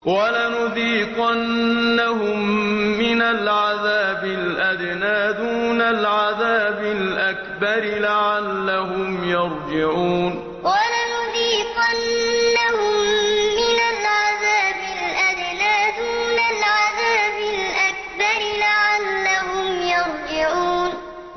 وَلَنُذِيقَنَّهُم مِّنَ الْعَذَابِ الْأَدْنَىٰ دُونَ الْعَذَابِ الْأَكْبَرِ لَعَلَّهُمْ يَرْجِعُونَ وَلَنُذِيقَنَّهُم مِّنَ الْعَذَابِ الْأَدْنَىٰ دُونَ الْعَذَابِ الْأَكْبَرِ لَعَلَّهُمْ يَرْجِعُونَ